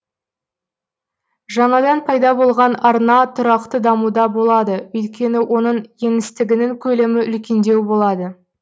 жаңадан пайда болған арна тұрақты дамуда болады өйткені оның еңістігінің көлемі үлкендеу болады